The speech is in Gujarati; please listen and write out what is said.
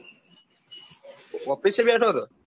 office એ બેઠો હતો.